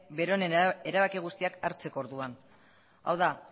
bere erabaki guztiak hartzeko orduan hau da